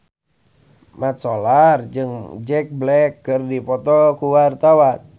Mat Solar jeung Jack Black keur dipoto ku wartawan